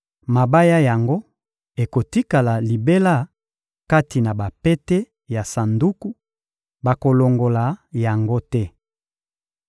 Mabaya yango ekotikala libela kati na bapete ya sanduku: bakolongola yango te.